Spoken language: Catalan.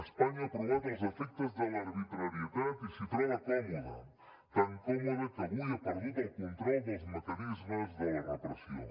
espanya ha provat els efectes de l’arbitrarietat i s’hi troba còmoda tan còmoda que avui ha perdut el control dels mecanismes de la repressió